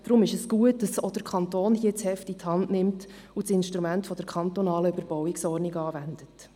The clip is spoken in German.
Deshalb ist es gut, dass auch hier der Kanton das Heft in die Hand nimmt und das Instrument der kantonalen Überbauungsordnung anwendet.